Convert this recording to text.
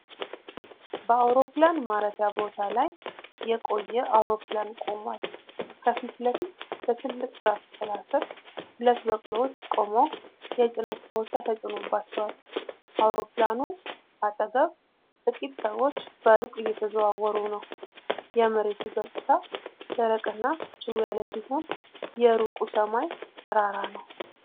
በአውሮፕላን ማረፊያ ቦታ ላይ የቆየ አውሮፕላን ቆሟል። ከፊት ለፊት በትልቅ ዛፍ ጥላ ሥር ሁለት በቅሎዎች ቆመው የጭነት ኮርቻ ተጭኖባቸዋል። አውሮፕላኑ አጠገብ ጥቂት ሰዎች በሩቅ እየተዘዋወሩ ነው። የመሬቱ ገጽታ ደረቅና ጭው ያለ ሲሆን፣ የሩቁ ሰማይ ጠራራ ነው።